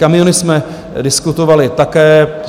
Kamiony jsme diskutovali také.